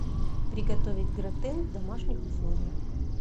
приготовить гратен в домашних условиях